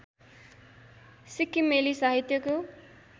सिक्किमेली साहित्यको